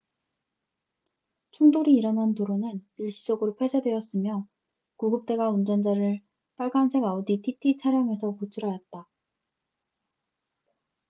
충돌이 일어난 도로는 일시적으로 폐쇄되었으며 구급대가 운전자를 빨간색 아우디 tt 차량에서 구출하였다